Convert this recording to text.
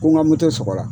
Ko n ka moto sɔgɔra